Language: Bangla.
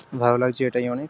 ভাল লাগছে এটাই অনেক।